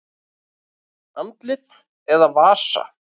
Andlit eða vasa?